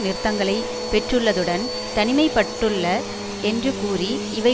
நிறுத்தங்களை பெற்றுள்ளதுடன் தனிமை பட்டுள்ள என்று கூறி இவை